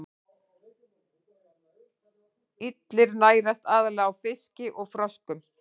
Illir nærast aðallega á fiski og froskum.